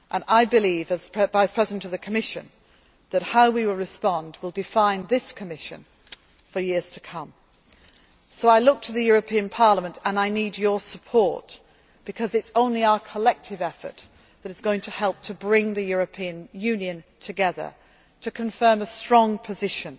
European Union. I believe, as Vice President of the Commission, that how we respond will define this Commission for years to come. So I look to the European Parliament and I need your support, because it is only our collective effort that is going to help to bring the European Union together, to confirm